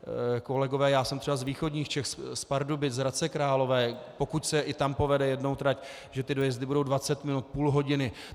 Kolegové, já jsem třeba z východních Čech, z Pardubic, z Hradce Králové, pokud se i tam povede jednou trať, že ty dojezdy budou 20 minut, půl hodiny.